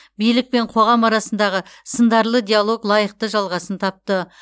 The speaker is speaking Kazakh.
билік пен қоғам арасындағы сындарлы диалог лайықты жалғасын тапты